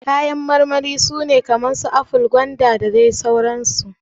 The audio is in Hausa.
Kayan marmari su ne kamar su aful, gwanda, mangoro, da sauran su.